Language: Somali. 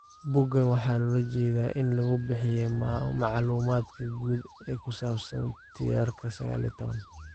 Boggaan waxaa loola jeedaa in lagu bixiyo macluumaadka guud ee ku saabsan tirtirka sagal iyo tobanp.